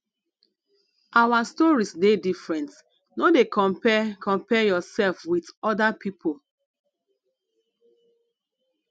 our stories dey different no dey compare compare yoursef wit oda pipo